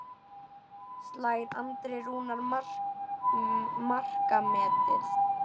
Slær Andri Rúnar markametið?